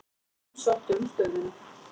Fimm sóttu um stöðuna.